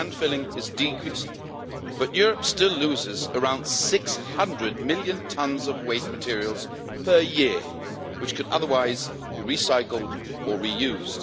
Land filling is decreasing. But Europe still loses around 600 million tons of waste materials per year, which could otherwise be recycled or reused.